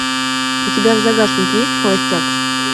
у тебя в загашнике есть холостяк